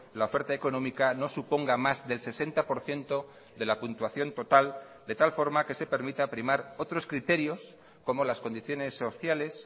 la oferta económica no suponga más del sesenta por ciento de la puntuación total de tal forma que se permita primar otros criterios como las condiciones sociales